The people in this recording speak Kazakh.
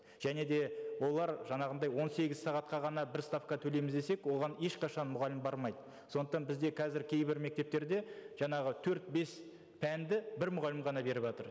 және де олар жаңағындай он сегіз сағатқа ғана бір ставка төлейміз десек оған ешқашан мұғалім бармайды сондықтан бізде қазір кейбір мектептерде жаңағы төрт бес пәнді бір мұғалім ғана беріватыр